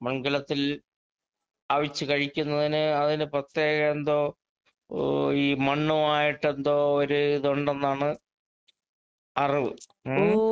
മൺ കലത്തിൽ അവിച്ച് കഴിക്കുന്നതിന് അതിന് പ്രത്യേക എന്തോ ഓ ഈ മണ്ണുവായിട്ടെന്തോ ഒര് ഇതൊണ്ടെന്നാണ് അറിവ്. ഉം.